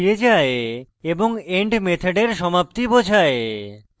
end end মেথডের সমাপ্তি বোঝায়